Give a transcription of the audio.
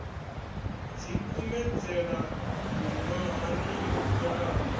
ḓi kumedzela miṅwahani yo fhelaho